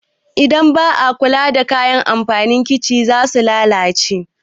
Idan ba a kula da kayan amfanin kicin za su lalace.